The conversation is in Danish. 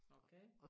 Okay